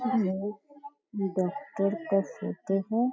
ये डॉक्टर का फोटो है।